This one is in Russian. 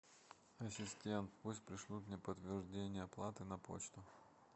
ассистент пусть пришлют мне подтверждение оплаты на почту